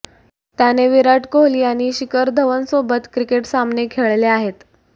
त्याने विराट कोहली आणि शिखर धवन सोबत क्रिकेट सामने खेळले आहेत